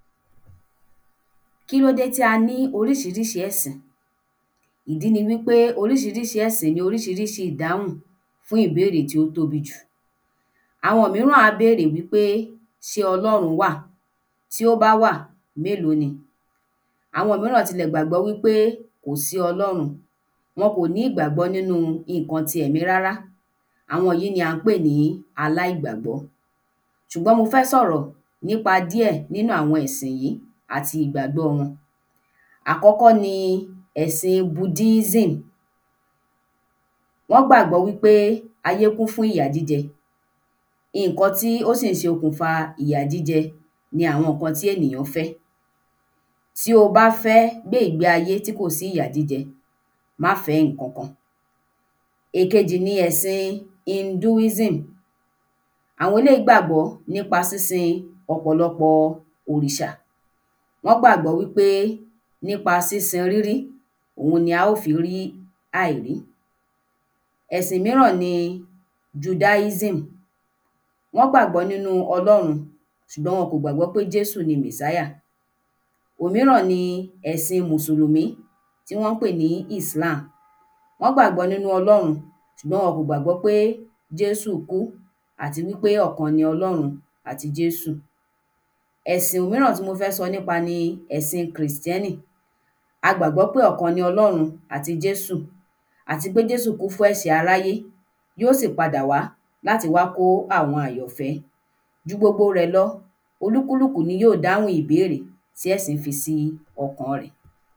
Kí ló dé tí a ní oríṣiríṣi ẹ̀sìn? Ìdí ni wí pé oríṣiríṣi ẹ̀sìn ni oríṣiríṣi ìdáhùn fún ìbéèrè tí ó tóbi jù. Àwọn mìíràn á bèrè wí pé: ṣé Ọlọ́run wà? Tí ó bá wà, mélòó ni? Àwọn mìíràn tilẹ̀ gbàgbọ́ wí pé kò sí Ọlọ́run, wọ́n kò ní ìgbàgbọ́ nínú nǹkan ti èmi rárá. Àwọn yìí ni à ń pè ní aláìgbàgbọ́. Ṣùgbọ́n mo fẹ́ sọ̀rọ̀ nípa díè nínú àwọn ẹ̀sìn yìí àti ìgbàgbọ́ wọn. Àkọ́kọ́ ni ẹ̀sìn [Buddhism]. Wọ́n gbàgbọ́ wí pé ayé kú fún ìyà jíjẹ, nǹkan tí ó sì ń ṣokùnfà ìyà jíjẹ ni àwọn nǹkan tí ènìyàn fẹ́. Tí o bá fẹ́ gbé ìgbé ayé tí kò sí ìyà jíjẹ, má fẹ̀ ẹ́ nǹkan kan. Èkejì ni ẹ̀sìn [Hinduism]. Àwọn eléyìí gbàgbọ́ nípa sín-sin ọ̀pọ̀lọpọ̀ òrìṣà. Wọ́n gbàgbọ́ wí pé nípa sín-sin rírí, òun la ó fi rí àìrí. Ẹ̀sìn míràn ni [Judaism]. Wọ́n gbàgbọ́ nínú Ọlọ́run ṣùgbọ́n wọn kò gbàgbọ́ pé Jésù ni Mèsáyà. Òmíràn ni ẹ̀sìn Mùsùlùmí tí wọ́n ń pè ní [Islam]. Wọ́n gbàgbọ́ nínú Ọlọ́run ṣùgbọ́n wọn kò gbàgbọ́ pé Jésù kú àti wí pé ọ̀kan ni Ọlọ́run àti Jésù. Ẹ̀sìn míràn tí mo fẹ́ sọ nípa ni ẹ̀sìn Krìstẹ́nì. A gbàgbọ́ pé ọ̀kan ni Ọlọ́run àti Jésù, àti pé Jésù kú fún ẹ̀ṣẹ̀ aráyé, yóò sì padà wá láti wá kó àwọn àyànfẹ́. Ju gbogbo rẹ̀ lọ, olúkúlùkù ní yóò dáhùn ìbéèrè tí ẹ̀sìn fi sí ọkàn rẹ̀.